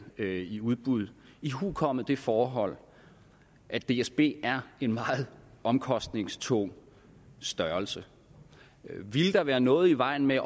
i udbud ihukommende det forhold at dsb er en meget omkostningstung størrelse ville der være noget i vejen med